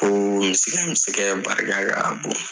Ko misikɛ misikɛ barika ka bon.